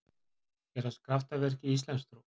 Gerast kraftaverk í íslamstrú?